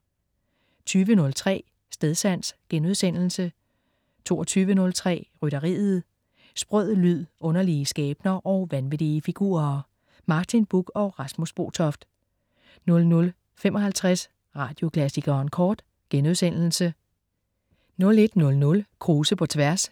20.03 Stedsans* 22.03 Rytteriet. Sprød lyd, underlige skæbner og vanvittige figurer. Martin Buch og Rasmus Botoft 00.55 Radioklassikeren Kort* 01.00 Krause på tværs*